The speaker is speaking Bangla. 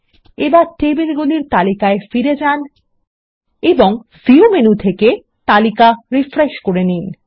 এবার টেবিলগুলির তালিকায় ফিরে যান এবং ভিউ মেনু থেকে তালিকা রিফ্রেশ করে নিন